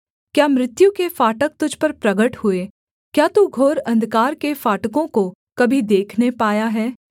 क्या मृत्यु के फाटक तुझ पर प्रगट हुए क्या तू घोर अंधकार के फाटकों को कभी देखने पाया है